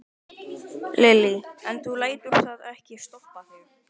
Lillý: En þú lætur það ekki stoppa þig?